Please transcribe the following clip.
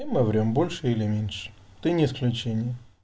и мы врём больше или меньше ты не исключение